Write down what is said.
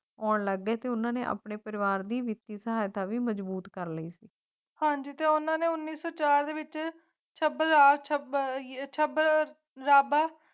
ਕੌਣ ਲੱਭੇ ਤੇ ਉਨ੍ਹਾਂ ਨੇ ਆਪਣੇ ਪਰਿਵਾਰ ਦੀ ਵਿੱਤੀ ਸਹਾਇਤਾ ਵੀ ਮਜ਼ਬੂਤ ਕਰ ਲਏ ਕਾਂਡ ਤੇ ਉਨ੍ਹਾਂ ਨੇ ਉਨੀ ਸੀ ਸਾਲ ਵਿੱਚ ਸ਼ਬਦ ਦਾ ਅਰਥ ਹੈ ਹੇਠਲਾ ਬੌਲਦ